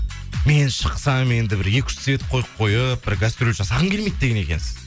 мен шықсам енді бір екі үш свет қойып қойып бір гастроль жасағым келмейді деген екенсіз